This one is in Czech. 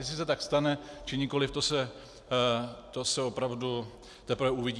Jestli se tak stane, či nikoliv, to se opravdu teprve uvidí.